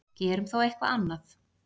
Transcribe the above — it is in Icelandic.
Gerum þá eitthvað annað.